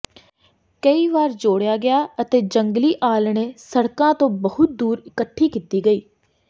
ਕਈ ਵਾਰ ਜੋੜਿਆ ਗਿਆ ਅਤੇ ਜੰਗਲੀ ਆਲ੍ਹਣੇ ਸੜਕਾਂ ਤੋਂ ਬਹੁਤ ਦੂਰ ਇਕੱਠੀ ਕੀਤੀ ਗਈ